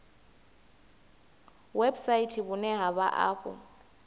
website vhune ha vha afho